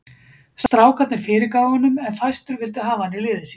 Strákarnir fyrirgáfu honum en fæstir vildu hafa hann í liði sínu.